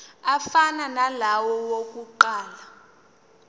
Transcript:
afana nalawo awokuqala